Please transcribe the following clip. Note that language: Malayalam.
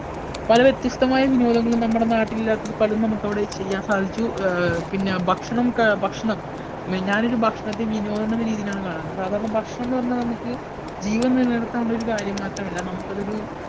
പല വ്യത്യസ്തമായ വിനോദങ്ങളും നമ്മുടെ നാട്ടിലില്ലാത്തത് പലതും നമുക്കവിടെ ചെയ്യാൻ സാധിച്ചു. ആഹ് പിന്നെ ഭക്ഷണം ക ഭക്ഷണം ഞാനൊരു ഭക്ഷണത്തെ വിനോദമെന്ന രീതിയിലാണ് കാണുന്നത്. സാധാരണ ഭക്ഷണം എന്ന് പറഞ്ഞാൽ നമുക്ക് ജീവൻ നിലനിർത്താൻ ഉള്ള ഒരു കാര്യം മാത്രമല്ല നമുക്ക് അതൊരു